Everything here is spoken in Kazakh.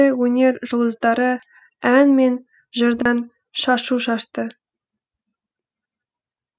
ал жергілікті өнер жұлдыздары ән мен жырдан шашу шашты